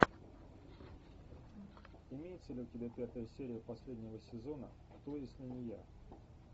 имеется ли у тебя пятая серия последнего сезона кто если не я